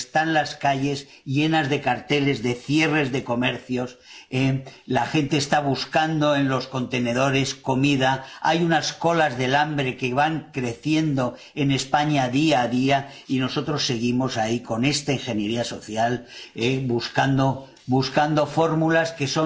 Están las calles llenas de carteles de cierres de comercios, la gente está buscando comida en los contenedores, hay unas colas del hambre que van creciendo en España día a día, y nosotros seguimos ahí con esta ingeniería social, buscando fórmulas que